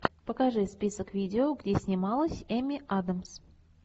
покажи список видео где снималась эми адамс